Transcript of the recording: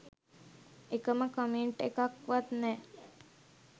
එකම කමෙන්ට් එකක් වත් නෑ.